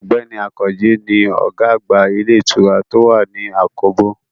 Ọ̀gbẹ́ni Àkànjí ni ọ̀gá àgbà ilé ìtura tó wà ní àkóbò